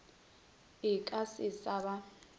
e ka se sa ba